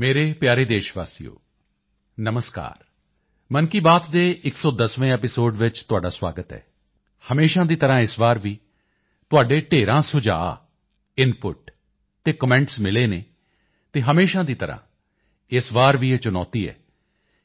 ਮੇਰੇ ਪਿਆਰੇ ਦੇਸ਼ਵਾਸੀਓ ਨਮਸਕਾਰ ਮਨ ਕੀ ਬਾਤ ਦੇ 110ਵੇਂ ਐਪੀਸੋਡ ਵਿੱਚ ਤੁਹਾਡਾ ਸਵਾਗਤ ਹੈ ਹਮੇਸ਼ਾ ਦੀ ਤਰ੍ਹਾਂ ਇਸ ਵਾਰ ਵੀ ਤੁਹਾਡੇ ਢੇਰਾਂ ਸੁਝਾਓ ਇਨਪੁਟ ਅਤੇ ਕਮੈਂਟ ਮਿਲੇ ਹਨ ਅਤੇ ਹਮੇਸ਼ਾ ਦੀ ਤਰ੍ਹਾਂ ਇਸ ਵਾਰ ਵੀ ਇਹ ਚੁਣੌਤੀ ਹੈ